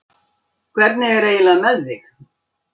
Hvernig er eiginlega með þig?